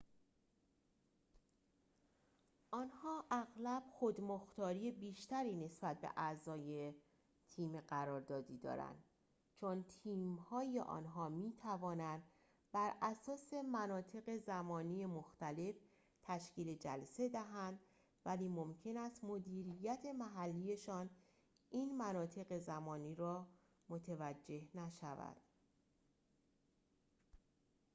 آنها اغلب خود‌مختاری بیشتری نسبت به اعضای تیم قراردادی دارند چون تیم‌های آنها می‌توانند براساس مناطق زمانی مختلف تشکیل جلسه دهند ولی ممکن است مدیریت محلی‌شان این مناطق زمانی را متوجه نشود